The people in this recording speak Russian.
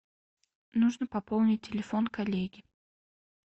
нужно пополнить телефон коллеги